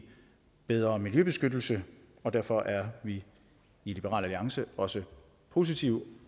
bedre miljøbeskyttelse derfor er vi i liberal alliance også positive